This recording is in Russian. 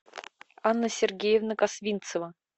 анна сергеевна косвинцева